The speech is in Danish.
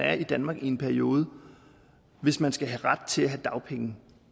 er i danmark i en periode hvis man skal have ret til dagpenge